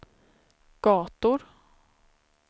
gator